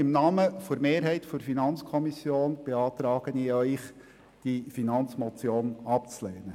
Deshalb beantrage ich Ihnen im Namen der Mehrheit der FiKo, diese Finanzmotion abzulehnen.